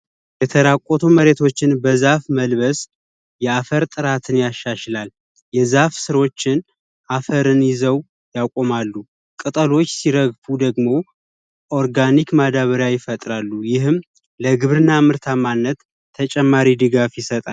የተራቆቱ መሬቶችን በዛፍ መልበስ የአፈር ጥራትን ያሻሽላል፤ የዛፍ ሥራዎችን አፈርን ይዘው ያቆማሉ። ቀጠሎች ሲረግፉ ደግሞ፤ ኦርጋኒክ ማዳበሪያ ይፈጥራሉ። ይህም ለግብርና ምርታማነት ተጨማሪ ድጋፍ ይሰጣል።